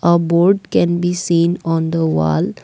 a board can be seen on the wall.